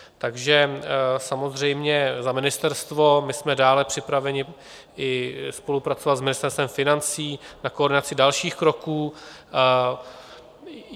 Takže samozřejmě za ministerstvo: my jsme dále připraveni spolupracovat i s Ministerstvem financí na koordinaci dalších kroků.